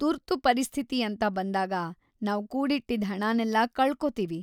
ತುರ್ತು ಪರಿಸ್ಥಿತಿ ಅಂತ ಬಂದಾಗ ನಾವ್‌ ಕೂಡಿಟ್ಟಿದ್ದ್‌ ಹಣನೆಲ್ಲ ಕಳ್ಕೊತೀವಿ.